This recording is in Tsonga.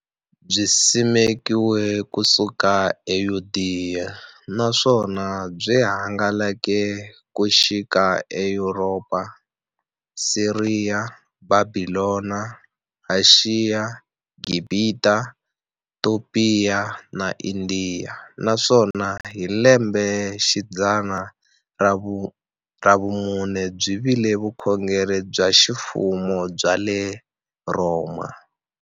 Byisimekiwe ku suka e Yudeya, naswona byi hangalake ku xika e Yuropa, Siriya, Bhabhilona, Ashiya, Gibhita, Topiya na Indiya, naswona hi lembexidzana ra vumune byi vile vukhongeri bya ximfumo bya le Rhoma.